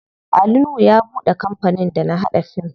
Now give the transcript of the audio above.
Ali nuhu ya buɗe kampanin da na haɗa fim.